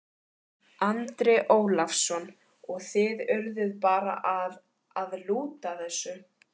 Andri Ólafsson: Og þið urðuð bara að, að lúta þessu?